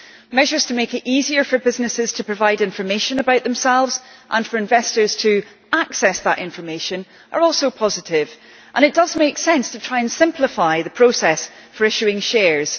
Measures to make it easier for businesses to provide information about themselves and for investors to access that information are also positive, and it does make sense to try and simplify the process for issuing shares.